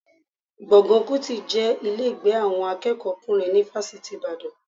Gbọ̀ngàn Kútì jẹ́ ilé ìgbé àwọn akẹ́kọ̀ọ́kùnrin ni Fásitì Ìbàdàn